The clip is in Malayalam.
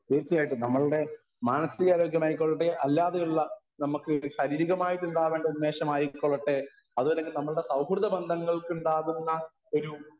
സ്പീക്കർ 1 തീർച്ചയായിട്ടും നമ്മളുടെ മാനസികാരോഗ്യം ആയിക്കൊള്ളട്ടെ അല്ലാതെയുള്ള നമ്മക്ക് ശാരീരികമായിട്ടുണ്ടാവേണ്ട ഉന്മേഷം ആയിക്കൊള്ളട്ടെ അതുവല്ലങ്കിൽ നമ്മുടെ സൗഹൃദബന്ധങ്ങൾക്കുണ്ടാവുന്ന ഒരു